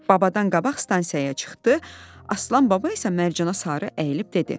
Babadan qabaq stansiyaya çıxdı, Aslan baba isə Mərcana sarı əyilib dedi: